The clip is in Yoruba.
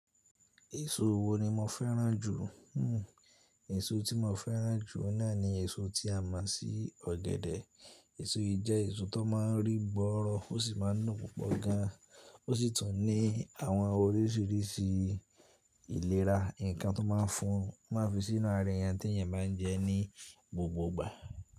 Èso wo ni mo fẹ́ràn jù? Hmm èso tí mo fẹ́ràn jù náà ni èso tí a mọ̀ sí ọ̀gẹ̀dẹ̀. Èso yìí jẹ́ èso tó má ń rí gbọ́rọ̀ ó sì má ń dùn púpọ̀ gan. Ó sì tún ní àwọn orísìírísìí ìlera, nǹkan tó má ń fún, má fi sínú ara èèyàn tí èèyàn má ń jẹ ní gbogbo ìgbà.